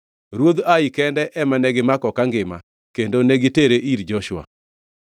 Ruodh Ai kende ema negimako kangima kendo negitere ir Joshua.